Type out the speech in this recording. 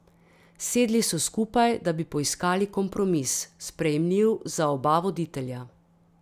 Sedli so skupaj, da bi poiskali kompromis, sprejemljiv za oba voditelja.